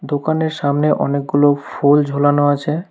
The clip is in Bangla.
দোকানের সামনে অনেকগুলো ফুল ঝোলানো আছে।